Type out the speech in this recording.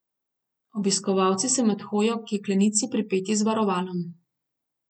Obiskovalci so med hojo k jeklenici pripeti z varovalom.